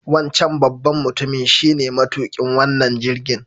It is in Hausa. Wancan babban mutumin shine matuƙin wannan jirgin.